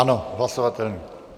Ano, hlasovatelný.